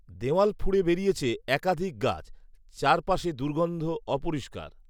দেওয়াল ফুঁড়ে বেরিয়েছে একাধিক গাছ৷চারপাশে দুর্গন্ধ, অপরিষ্কার